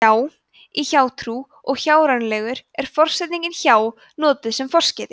hjá í hjátrú og hjárænulegur er forsetningin hjá notuð sem forskeyti